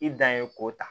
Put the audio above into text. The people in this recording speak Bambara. I dan ye k'o ta